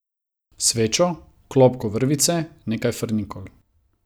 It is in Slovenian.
Svečo, klobko vrvice, nekaj frnikol.